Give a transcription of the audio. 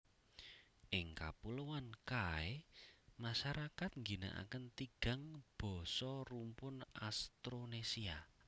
Ing Kapuloan Kai masarakat ngginakaken tigang basa rumpun Austronesia